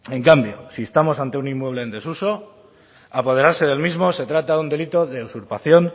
en cambio si estamos ante un inmueble en desuso apoderarse del mismo se trata de un delito de usurpación